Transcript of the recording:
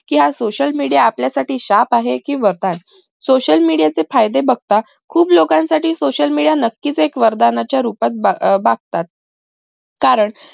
social media आपल्यासाठी शाप आहे कि वरदान social media चे फायदे बघता खूप लोकांसाठी social media हे नक्कीच एक वरदान च्या रूपात बघतात कारण